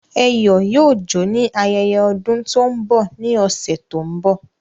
Eyo yoo jo ni ayeye odun to n bọ ni ọsẹ to n bọ